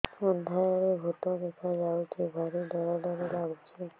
ଅନ୍ଧାରରେ ଭୂତ ଦେଖା ଯାଉଛି ଭାରି ଡର ଡର ଲଗୁଛି